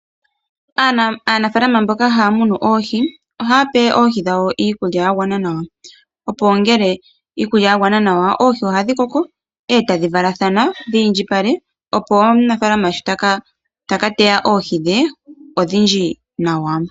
Aanafaalama mboka haya munu oohi, ohaa pe oohi dhawo iikulya ya gwana nawa, opo ngele iikulya ya gwana nawa oohi oha dhi koko, e tadhi valathana dhi indjipale, opo omunafaalama sho taka teya oohi dhe, odhindji nawa.